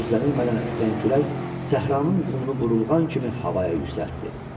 Gözlənilmədən əsən külək səhranın qumunu burulğan kimi havaya yüksəltdi.